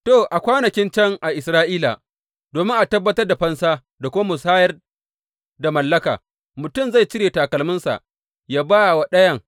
To, a kwanakin can a Isra’ila, domin a tabbatar da fansa da kuma musayar da mallaka, mutum zai cire takalminsa ya ba wa ɗayan.